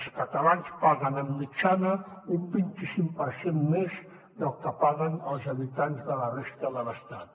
els catalans paguen de mitjana un vint i cinc per cent més del que paguen els habitants de la resta de l’estat